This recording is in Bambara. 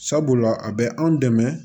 Sabula a bɛ anw dɛmɛ